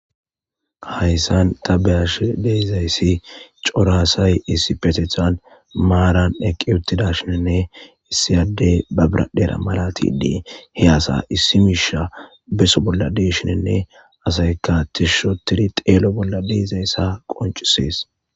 Hayssan tabeyash deizayssi coraasay issi petethan maaran eqqi uttida shinenne issiyadey babiradhera malatidii he asa issi miisha beso bolla deshinenne asayka tishshotiri xeelo bolla deezayssa qoncisees.